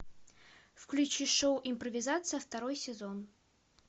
включи шоу импровизация второй сезон